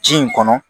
Ji in kɔnɔ